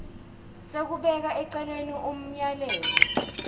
sekubeka eceleni umyalelo